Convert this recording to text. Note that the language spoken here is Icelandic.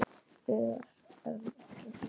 Ör, en ekki þungur.